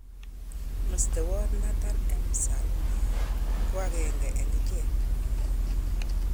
Mestowot Nathan Empsall ko agenge eng ichek.